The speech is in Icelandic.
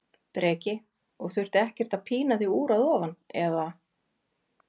Breki: Og þurfti ekkert að pína þig úr að ofan, eða?